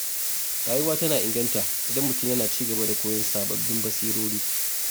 Rayuwa tana inganta idan mutum yana ci gaba da koyon sababbin basirori.